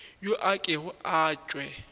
yo a kego a tšwe